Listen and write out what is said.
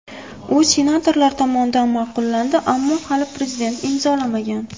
U senatorlar tomonidan ma’qullandi, ammo hali Prezident imzolamagan.